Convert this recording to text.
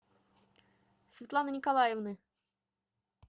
светланы николаевны